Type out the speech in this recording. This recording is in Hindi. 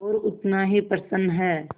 और उतना ही प्रसन्न है